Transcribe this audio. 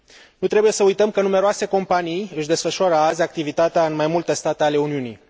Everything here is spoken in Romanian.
Nu trebuie să uităm că numeroase companii își desfășoară azi activitatea în mai multe state ale Uniunii.